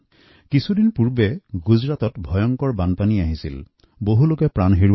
বিগত কিছুদিন ধৰি গুজৰাটৰ ভয়ংকৰ বানৰ কথা আমি শুনি আহিছো